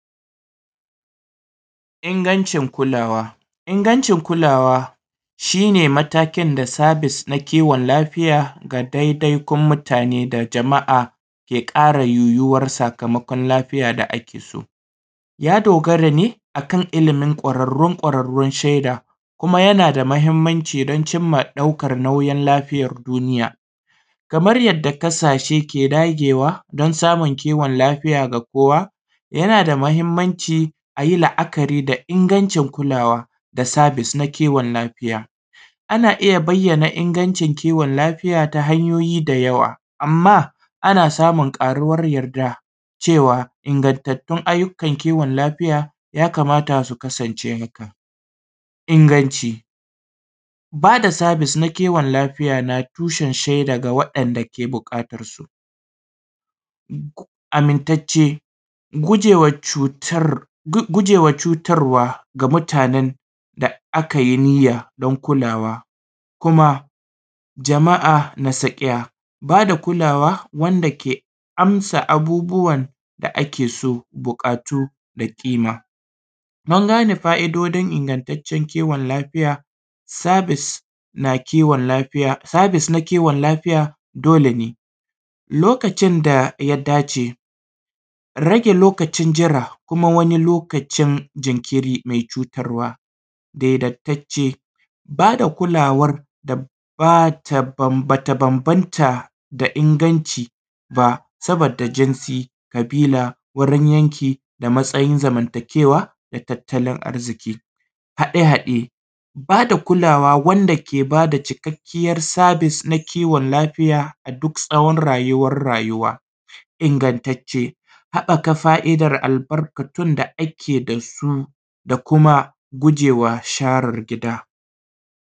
Ingantaccen kulawa Ingantaccen kulawa shi ne matakin da sabis na kiwon lafiya ga dai-dai kun mutane da jam’a ya ƙara ruyuwa kiwo sakamakon lafiya da ake so. Ya dogara ne akan ilimin ƙwararrun ƙwararru fiyan sheda, kuma yana da mahinmanci, domin ɗaukan nauyin lafiyar duniya, kamar yadda ƙasashe ke dagewa don samun kiwon lafiya da kowa. Yana da mahinmanci a yi la’akari da ingantaccen kulawa na sabis na kiwon lafiya. Ana iya bayyana ingantaccen lafiya da hannyoin da yawa, amma ana samun ƙayuwar yadda ciwo. Ingaggatun aikin kiwon lafiya yakamata su kasance ingantacce: bada sabis na kiwon lafiya na tushen sheda na waɗanda ke buƙatansu, amintacce, gujewa cutar, gujewa cutarwa mutanen da aka yi niyya don kulawa. Kuma jama’a na sakaya bada kulawa wanda ke amsa abubbuwan da ake so, buƙatu da ƙima. An gane fa’idojin ingantaccen kiwon lafiya: sabisa na kiwon lafiya, sabis na kiwon lafiya, dole ne, lokacin da ya dace, rage lokacin jira, kuma lokacin jinkiri me cutar wa. Daidaitacce bada kulawan da bata banbanta da inganci ba, saboda jinsi, ƙabila, gurin yanke, da matain zamantakewa da tattalin arziki. Haɗe-haɗe bada kulawa wanda ke bada cikkakken sabis na kiwon lafiya da duk tsawon rayuwan rayuwa, ingantacce, haɓaka fa’idan albarkatun da suke da su, da kuma gujewa sharer gida.